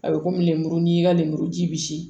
A bɛ komi lemuru n'i y'i ka lemuru ji bi